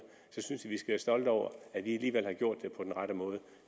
skal stolte over at vi alligevel har gjort det på den rette måde